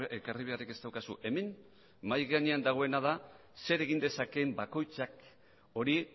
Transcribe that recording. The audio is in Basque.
ekarri beharrik ez daukazu hemen mahai gainean dagoena da zer egin dezakeen bakoitzak hori